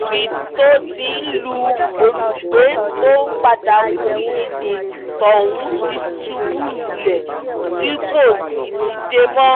níbi tó ti ń lu olùgbé tó padà kú yìí ni tọ̀hún ti ṣubú lulẹ̀ tí kò sì dìde mọ́